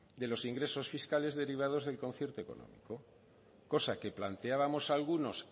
de los ingresos fiscales derivado del concierto económico cosa que planteábamos algunos